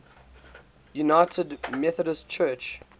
united methodist church